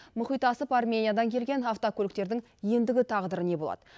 мұхит асып армениядан келген автокөліктердің ендігі тағдыры не болады